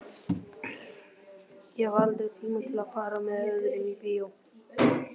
Ég hafði aldrei tíma til að fara með öðrum í bíó.